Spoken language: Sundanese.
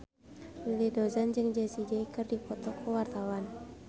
Willy Dozan jeung Jessie J keur dipoto ku wartawan